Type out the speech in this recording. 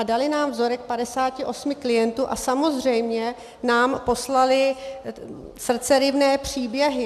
A dali nám vzorek 58 klientů a samozřejmě nám poslali srdceryvné příběhy.